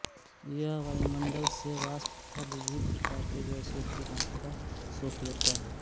यह वायुमंडल से वाष्प तथा विविध प्रकार के गैसों की मात्रा सोख लेता है